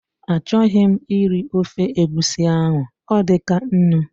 A chọghị m iri ofe egusi ahụ, ọ dịkaa nnu